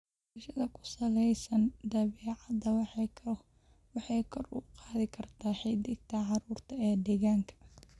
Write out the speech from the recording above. Barashada ku salaysan dabeecadda waxay kor u qaadi kartaa xidhiidhka carruurta ee deegaanka.